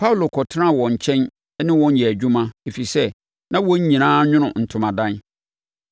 Paulo kɔtenaa wɔn nkyɛn ne wɔn yɛɛ adwuma, ɛfiri sɛ, na wɔn nyinaa nwono ntomadan.